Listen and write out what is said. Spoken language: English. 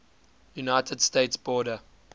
united states border